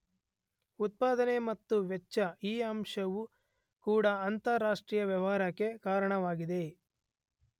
ಉತ್ಪಾದನೆ ಮತ್ತು ವೆಚ್ಚ, ಈ ಅಂಶವೂ ಕೂಡ ಅಂತರಾಷ್ಟ್ರೀಯ ವ್ಯವಹಾರಕ್ಕೆ ಕಾರಣವಾಗಿದೆ.